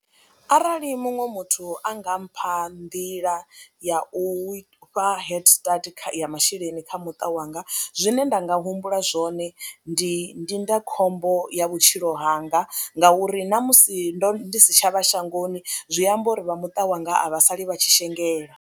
Arali muṅwe muthu a nga mpha nḓila ya u fha head start kha ya masheleni kha muṱa wanga zwine nda nga humbula zwone ndi ndindakhombo ya vhutshilo hanga ngauri na musi ndo ndi si tsha vha shangoni zwi amba uri vha muṱa wanga a vha sali vha tshi shengela.